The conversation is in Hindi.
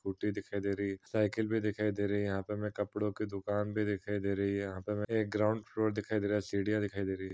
स्कूटी दिखाई दे रही है। साइकिल भी दिखाई दे रही है। यहां पर कपड़ों की दुकान भी दिखाई दे रही है। यहां पर एक ग्राउंड फ्लोर दिखाई दे रहा है सीढ़ियां दिखाई दे रही हैं।